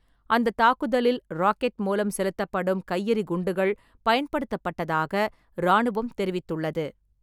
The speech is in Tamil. அந்த தாக்குதலில் ராக்கெட் மூலம் செலுத்தப்படும் கையெறி குண்டுகள் பயன்படுத்தப்பட்டதாக ராணுவம் தெரிவித்துள்ளது.